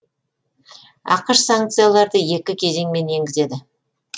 ақш санкцияларды екі кезеңмен енгізеді